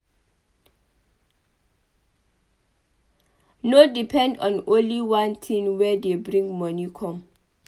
No depend on only one thing wey dey bring moni come